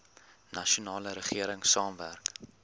nasionale regering saamwerk